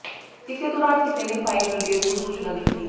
ਇਸੇ ਦੌਰਾਨ ਕਿਸੇ ਨੇ ਫਾਇਰ ਬ੍ਰਿਗੇਡ ਨੂੰ ਸੂਚਨਾ ਦਿੱਤੀ